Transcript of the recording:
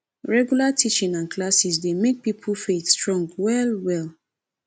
regular teaching and classes dey make pipo faith strong well well